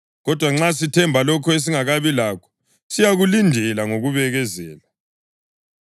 Kodwa nxa sithemba lokho esingakabi lakho, siyakulindela ngokubekezela.